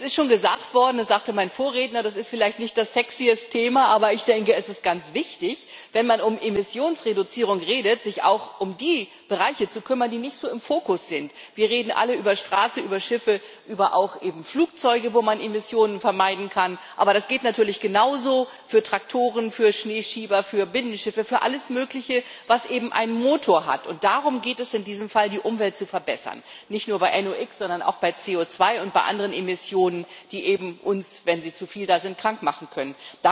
Es ist schon gesagt worden, es sagte mein Vorredner Das ist vielleicht nicht das sexyeste Thema, aber es ist ganz wichtig, wenn man von Emissionsreduzierung redet, sich auch um die Bereiche zu kümmern, die nicht so im Fokus sind. Wir reden alle über Straße, über Schiffe, auch eben über Flugzeuge, wo man Emissionen vermeiden kann, aber das gilt natürlich genauso für Traktoren, für Schneeschieber, für Binnenschiffe, für alles Mögliche, was eben einen Motor hat, und darum geht es in diesem Fall Die Umwelt zu verbessern, nicht nur bei einem NOx, sondern auch bei CO2 und bei anderen Emissionen, die uns, wenn sie zu viel da sind, krank machen können.